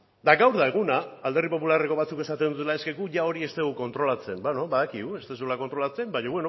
eta gaur da eguna alderdi popularreko batzuk esaten dutena eske guk ia hori ez dugu kontrolatzen beno badakigu ez duzuela kontrolatzen baina